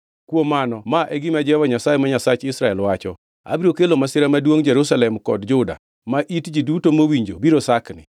Kuom mano ma e gima Jehova Nyasaye ma Nyasach Israel wacho: Abiro kelo masira maduongʼ Jerusalem kod Juda, ma it ji duto mowinjo biro sakni.